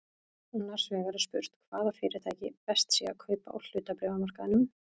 Annars vegar er spurt hvaða fyrirtæki best sé að kaupa á hlutabréfamarkaðinum.